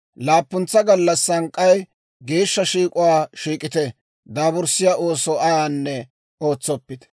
Laappuntsa gallassan k'ay geeshsha shiik'uwaa shiik'ite; daaburssiyaa ooso ayaanne ootsoppite.